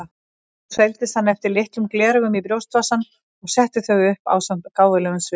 Svo seildist hann eftir litlum gleraugum í brjóstvasann og setti þau upp ásamt gáfulegum svip.